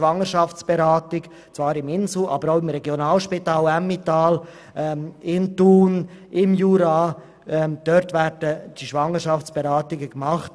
So etwa die Schwangerschaftsberatung, die im Inselspital, aber auch im Regionalspital Emmental, in Thun sowie im Berner Jura angeboten wird.